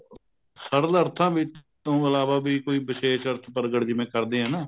ਸਰਲ ਅਰਥਾਂ ਵਿੱਚ ਤੋਂ ਇਲਾਵਾ ਵੀ ਕੋਈ ਵਿਸ਼ੇਸ਼ ਅਰਥ ਪ੍ਰਗਟ ਜਿਵੇਂ ਕਰਦੇ ਹਾਂ ਨਾ